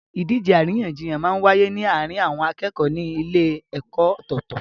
Ìdíje àríyànjiyàn máa n wáyé ní àárín àwọn akẹ́kọ̀ọ́ ní ilé ẹ̀kọ́ ọ̀tọ̀tọ̀